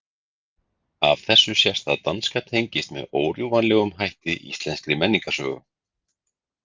Af þessu sést að danska tengist með órjúfanlegum hætti íslenskri menningarsögu.